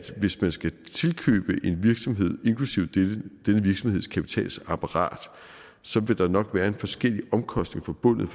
hvis man skal tilkøbe en virksomhed inklusive denne virksomheds kapitalapparat så vil der nok være forskellige omkostninger forbundet